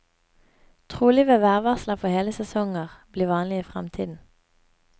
Trolig vil værvarsler for hele sesonger bli vanlig i fremtiden.